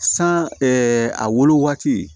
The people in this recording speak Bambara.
San a wolo waati